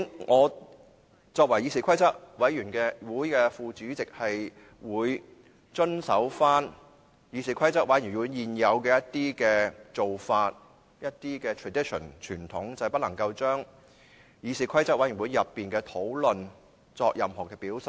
我作為議事規則委員會副主席，會遵守議事規則委員會現有的做法及一些傳統，就是不能夠將議事規則委員會內的討論作任何表述。